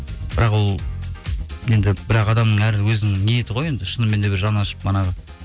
бірақ ол енді бірақ адамның әр өзінің ниеті ғой шыныменде жаны ашып манағы